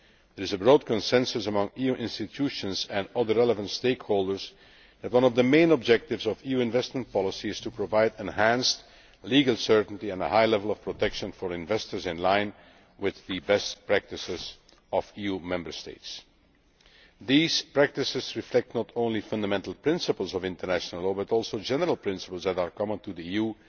There is a broad consensus among EU institutions and all the relevant stakeholders that one of the main objectives of EU investment policy is to provide enhanced legal certainty and a high level of protection for investors in line with the best practices of EU Member States. These practices reflect not only fundamental principles of international law but also general principles that are common to the